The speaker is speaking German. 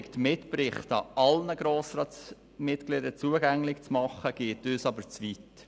Die Forderung, die Mitberichte allen Mitgliedern des Grossen Rats zugänglich zu machen, geht uns jedoch zu weit.